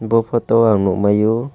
bo photo o ang nukmaiyo.